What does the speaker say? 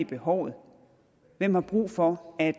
behovet hvem har brug for at